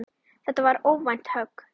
Þetta var óvænt högg.